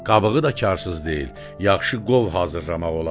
Qabığı da karsız deyil, yaxşı qov hazırlamaq olar.